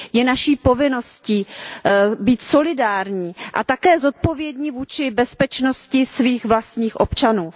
Je naší povinností být solidární a také zodpovědní vůči bezpečnosti svých vlastních občanů.